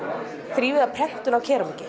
þrívíða prentun á